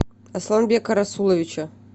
асланбека расуловича